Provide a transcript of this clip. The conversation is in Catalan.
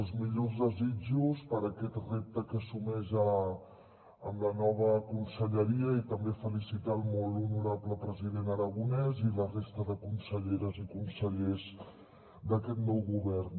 els millors desitjos per a aquest repte que assumeix amb la nova conselleria i també felicitar el molt honorable president aragonès i la resta de conselleres i consellers d’aquest nou govern